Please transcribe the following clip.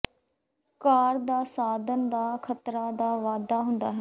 ਕਾਰ ਦਾ ਸਾਧਨ ਦਾ ਖ਼ਤਰਾ ਦਾ ਵਾਧਾ ਹੁੰਦਾ ਹੈ